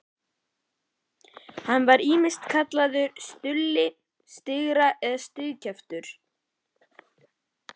Hann var ýmist kallaður Stulli striga eða strigakjafturinn.